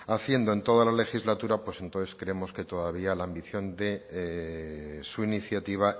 haciendo en toda la legislatura pues entonces creemos que todavía la ambición de su iniciativa